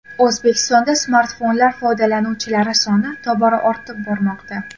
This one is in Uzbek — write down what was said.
O‘zbekistonda smartfonlar foydalanuvchilari soni tobora ortib bormoqda.